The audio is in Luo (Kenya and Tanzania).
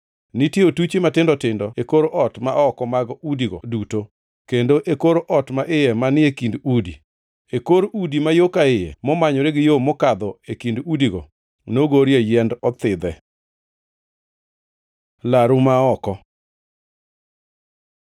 Nitie otuchi matindo tindo e kor ot ma oko mag udigo duto, kendo e kor ot ma iye manie kind udi. E kor udi ma yo ka iye momanyore gi yo mokadho e kind udigo, nogorie yiend othidhe. Laru ma oko